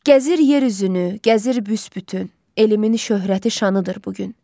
Gəzir yer üzünü, gəzir büsbütün, elimizin şöhrəti şanıdır bu gün.